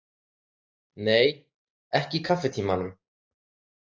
Nei, ekki í kaffitímanum.